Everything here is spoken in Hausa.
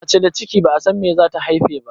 Mace da ciki ba'a san abinda zata haife ba.